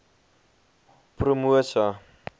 promosa